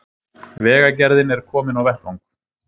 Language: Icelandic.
Vegagerðin er komin á vettvang